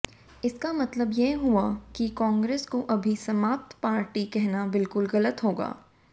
इसका मतलब यह हुआ कि कांग्रेस को अभी समाप्त पार्टी कहना बिलकुल ग़लत होगा